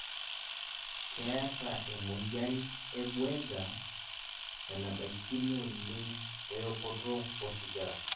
keeta e moyian e Buerger enabaikino oleng we okoto osigara